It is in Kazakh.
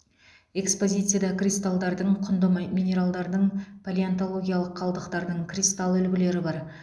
экпозияцияда кристалдардың құнды минералдардың палеонтологиялық қалдықтардың кристалл үлгілері бар